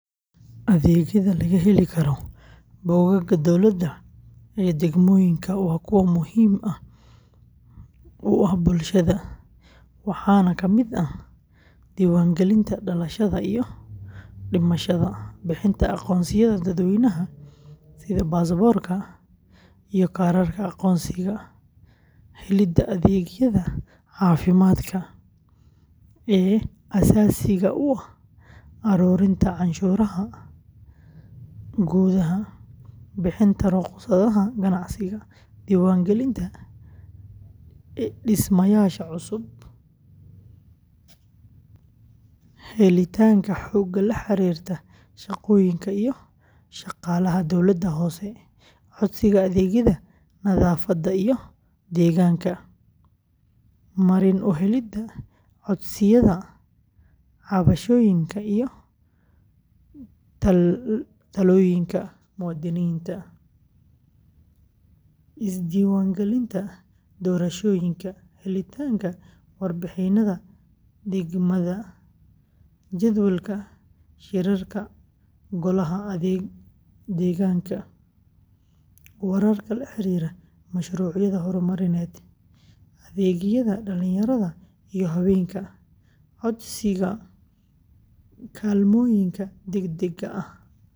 Adeegyada laga heli karo bogagga Dowladda ee degmooyinka waa kuwo muhiim u ah bulshada, waxaana ka mid ah: diiwaangelinta dhalashada iyo dhimashada, bixinta aqoonsiyada dadweynaha sida baasaboorka iyo kaarka aqoonsiga, helidda adeegyada caafimaadka ee aasaasiga ah, aruurinta canshuuraha gudaha, bixinta rukhsadaha ganacsiga, diiwaangelinta dhismayaasha cusub, helitaanka xogta la xiriirta shaqooyinka iyo shaqaalaha dawladda hoose, codsiga adeegyada nadaafadda iyo deegaanka, marin u helidda codsiyada cabashooyinka iyo talooyinka muwaadiniinta, isdiiwaangelinta doorashooyinka, helitaanka warbixinnada degmada, jadwalka shirarka golaha deegaanka, wararka la xiriira mashruucyada horumarineed, adeegyada dhallinyarada iyo haweenka, codsiga kaalmooyinka degdegga ah.